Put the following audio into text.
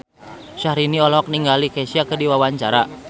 Syahrini olohok ningali Kesha keur diwawancara